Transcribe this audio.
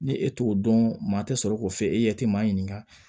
Ni e t'o dɔn maa tɛ sɔrɔ k'o f'e ɲɛ tɛ maa ɲininka